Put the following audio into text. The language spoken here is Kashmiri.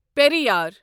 پیرِیار